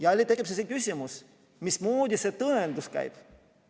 Jälle tekib küsimus, mismoodi see tõendamine käib.